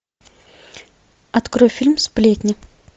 открой фильм сплетни